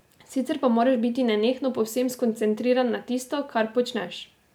Sicer pa moraš biti nenehno povsem skoncentriran na tisto, kar počneš.